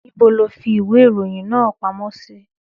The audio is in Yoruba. Níbo lo fi ìwé ìròyìn náà pamọ́ sí?